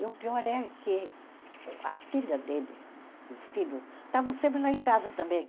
E o pior é que o a filha dele e o filho estavam sempre lá em casa também.